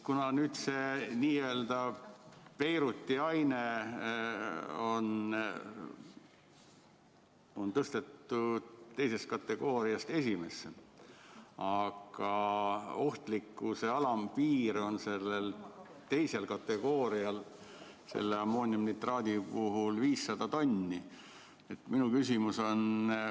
Kuna nüüd on see n‑ö Beiruti aine tõstetud teisest kategooriast esimesse, aga ohtlikkuse alampiir on sellel teisel kategoorial ammooniumnitraadi puhul 500 tonni, siis minu küsimus on see.